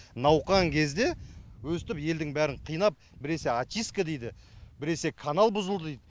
науқан кезде өстіп елдің бәрін қинап біресе очистка дейді біресе канал бұзылды дит